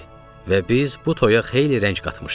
və biz bu toyə xeyli rəng qatmışdıq.